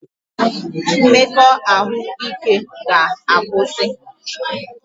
Mmekọahụ n'ike ga akwụsị